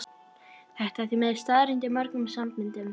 Þetta er því miður staðreynd í mörgum samböndum.